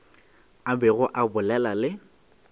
a bego a bolela le